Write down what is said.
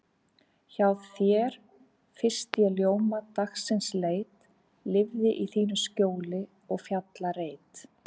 Hjá þér fyrst ég ljóma dagsins leit, lifði í þínu skjóli og fjallareit.